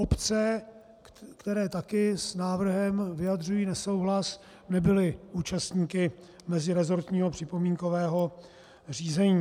Obce, které taky s návrhem vyjadřují nesouhlas, nebyly účastníky meziresortního připomínkového řízení.